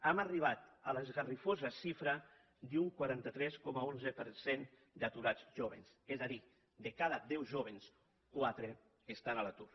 hem arribat a l’esgarrifosa xifra d’un quaranta tres coma onze per cent d’aturats jóvens és a dir de cada deu jóvens quatre que estan a l’atur